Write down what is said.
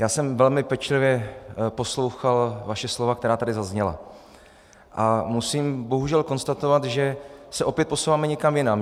Já jsem velmi pečlivě poslouchal vaše slova, která tady zazněla, a musím bohužel konstatovat, že se opět posouváme někam jinam.